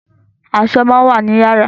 Aṣọ máa ń wà ni yàrá